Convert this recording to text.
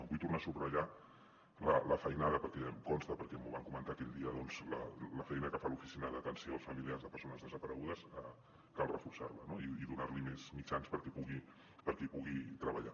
vull tornar a subratllar la feinada perquè em consta perquè m’ho van comentar aquell dia doncs la feina que fa l’oficina d’atenció als familiars de persones desaparegudes cal reforçar la i donar li més mitjans perquè pugui treballar